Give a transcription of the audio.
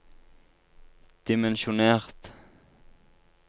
dimensjonert